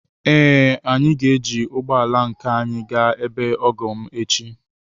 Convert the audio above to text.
Ee, anyị ga-eji ụgbọ ala nke anyị gaa ebe ọgọ m echi.